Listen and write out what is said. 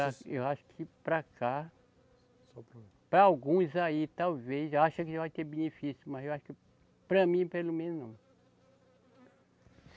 Eu acho que para cá. Para alguns aí, talvez, acha que vai ter benefício, mas eu acho que para mim, pelo menos, não.